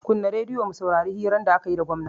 Kunna radiyo mu saurari hirar da akayi da gwamna